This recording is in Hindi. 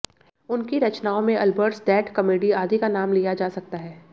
उनकी रचनाओं में अलबर्टस डेथ कॅमेडी आदि का नाम लिया जा सकता है